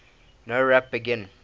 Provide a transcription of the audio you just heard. nowrap begin